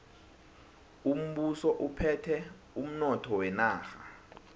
umbuso uphethe umnotho wenarha